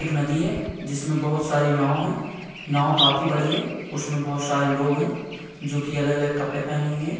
एक नदी है जिसमे बहुत सारी नाव है नाव काफी बड़ी है उसमे बहुत सारे लोग है जो की अलग-अलग कपड़े पहने हुए है ।